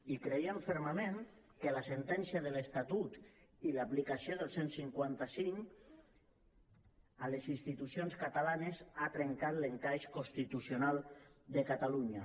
i creiem fermament que la sentència de l’estatut i l’aplicació del cent i cinquanta cinc a les institucions catalanes ha trencat l’encaix constitucional de catalunya